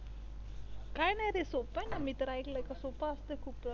काही नाही रे सोपं आहे ना मी तर ऐकलं आहे सोपं असतं खूप